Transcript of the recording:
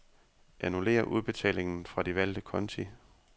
Annullér udbetalingen fra de valgte konti.